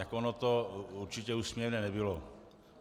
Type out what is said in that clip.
Tak ono to určitě úsměvné nebylo.